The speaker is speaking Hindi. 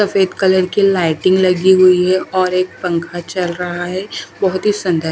सफ़ेद कलर की लाइटिंग लगी हुई है और एक पंखा चल रहा है बहोत ही संध्या--